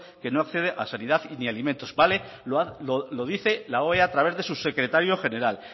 que no accede a sanidad ni a alimentos vale lo dice la oea a través de su secretario general